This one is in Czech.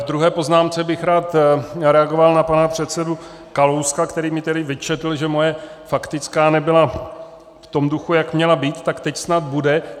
V druhé poznámce bych rád reagoval na pana předsedu Kalouska, který mi tedy vyčetl, že moje faktická nebyla v tom duchu, jak měla být, tak teď snad bude.